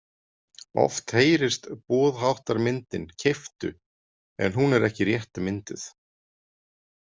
Oft heyrist boðháttarmyndin keyptu en hún er ekki rétt mynduð.